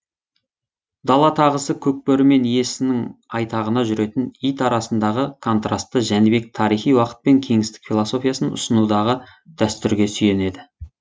дала тағысы көк бөрі мен иесінің айтағына жүретін ит арасындағы контрасты жәнібек тарихи уақыт пен кеңістік философиясын ұсынудағы дәстүрге сүйенеді